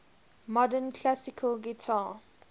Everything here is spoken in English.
modern classical guitar